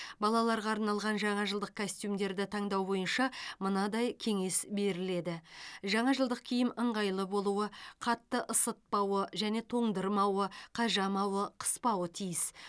балаларға арналған жаңа жылдық костюмдерді таңдау бойынша мынадай кеңес беріледі жаңа жылдық киім ыңғайлы болуы қатты ысытпауы және тоңдырмауы қажамауы қыспауы тиіс